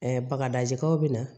bakarijan bɛ na